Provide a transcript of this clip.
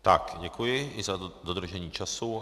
Tak, děkuji i za dodržení času.